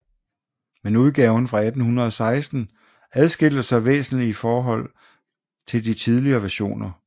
Men udgaven fra 1816 adskilte sig væsentlig i indhold fra de tidligere versioner